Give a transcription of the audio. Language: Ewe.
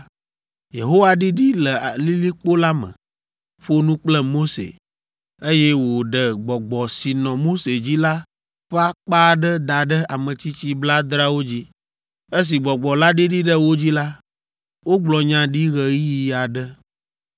Yehowa ɖiɖi le lilikpo la me, ƒo nu kple Mose, eye woɖe gbɔgbɔ si nɔ Mose dzi la ƒe akpa aɖe da ɖe ametsitsi blaadreawo dzi. Esi gbɔgbɔ la ɖiɖi ɖe wo dzi la, wogblɔ nya ɖi ɣeyiɣi aɖe.